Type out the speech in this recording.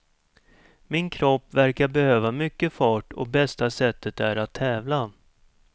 Min kropp verkar behöva mycket fart och bästa sättet är att tävla.